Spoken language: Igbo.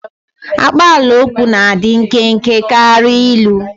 Akpaalaokwu na-adị nkenke karịa ilu.